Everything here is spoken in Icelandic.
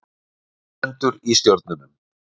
Eitthvað stendur í stjörnunum